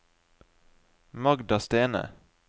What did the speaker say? Magda Stene